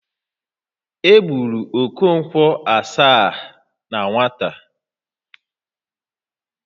E gburu Okonkwo Asaá na nwata